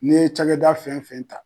N'i ye cakɛda fɛn fɛn ta